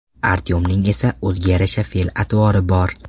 Artyomning esa o‘ziga yarasha fe’l-atvori bor.